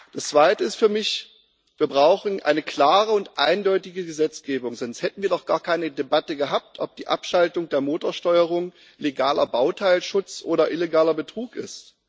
Das Zweite ist für mich Wir brauchen eine klare und eindeutige Gesetzgebung, sonst hätten wir doch gar keine Debatte gehabt, ob die Abschaltung der Motorsteuerung legaler Bauteilschutz oder illegaler Betrug ist.